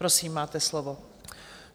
Prosím, máte slovo.